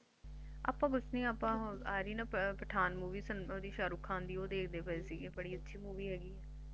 ਅੱਪਾ ਕੁਛ ਨੀ ਅੱਪਾ ਉਹ ਆਰੀ ਸੀ ਨਾ ਪਠਾਨ Movie ਓਹਦੀ ਸ਼ਾਹਰੁਖ ਖਾਨ ਦੀ ਉਹ ਦੇਖਦੇ ਪਾਏ ਸੀਗੇ ਬੜੀ ਅੱਛੀ movie ਹੈਗੀ